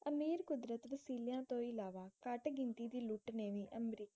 ਅਮੀਰ ਕੁਦਰਤ ਰਸੀਲੀਆਂ ਤੋਂ ਇਲਾਵਾ ਘਟ ਗਿਣਤੀ ਦੀ ਲੁੱਟ ਨੇ ਵੀ ਅਮਰੀਕਾ